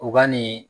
U ka nin